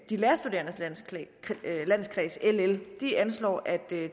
de lærerstuderendes landskreds ll anslår at